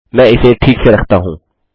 मैं इसे ठीक से रखता हूँ